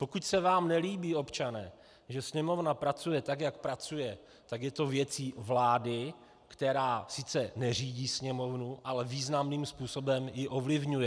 Pokud se vám nelíbí, občané, že Sněmovna pracuje tak, jak pracuje, tak je to věcí vlády, která sice neřídí Sněmovnu, ale významným způsobem ji ovlivňuje.